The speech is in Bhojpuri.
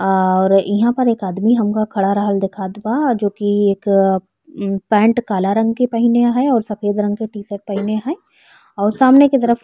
और इहा पर एक आदमी हमका खड़ा रहल दीखात बा जो कि एक उम्म पैन्ट काला रंग के पहिने है और सफ़ेद रंग के टी-शर्ट पहिने है और सामने के तरफ --